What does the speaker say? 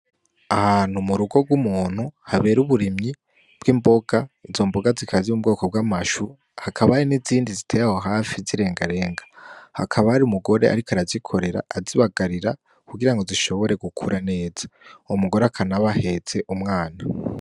Ahantu mu rugo rw’umuntu habera uburimyi bw’imboga izo mboga zikaba ziri mubwoko bw’amashu hakaba hari n’izindi ziteye aho hafi z’irengarenga. hakaba hari umugore ariko arazikorera azibagarira kugirango zishobore gukura neza uyo mugore akanaba ahetse umwana.